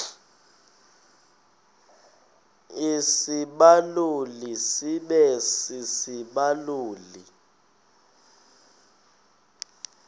isibaluli sibe sisibaluli